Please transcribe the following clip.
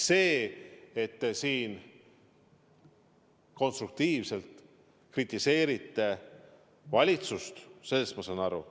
Sellest, et te siin konstruktiivselt kritiseerite valitsust, ma saan aru.